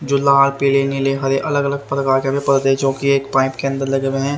जो लाल पीले नीले हरे अलग अलग प्रकार के भी पौधे जो कि एक पाइप अंदर लगे हुए है।